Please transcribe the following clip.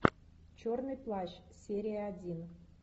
черный плащ серия один